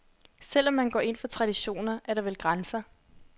Selv om man går ind for traditioner, er der vel grænser.